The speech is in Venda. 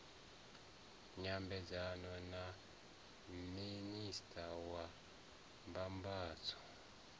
nyambedzano na minista wa mbambadzo